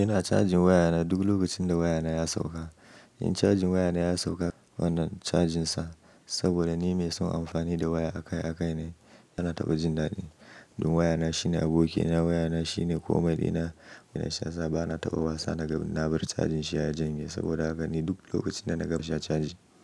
Ina cajin wayana duk lokacin da wayana ya sauka. In cajin wayana ya sauka, wannan cajinsa saboda ni mai son amfani da waya akai-akai ne, yana taɓa jin dadi. Don wayana shine abokina, wayana shine komai ina, ina shasa bana taɓa wasa na ga na bar cajin shi ya janye saboda haka ni duk lokacin da na ganshi na caji.